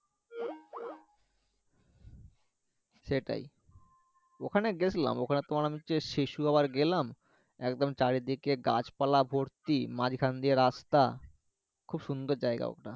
সেটাই ওখানে গেছলাম ওখানে তোমার আমি হচ্ছে শিশু আবার গেলাম একদম চারিদিকে গাছপালা ভর্তি মাঝখান দিয়ে রাস্তা খুব সুন্দর জায়গা ওটা